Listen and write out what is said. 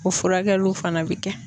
O furakɛliw fana bɛ kɛ.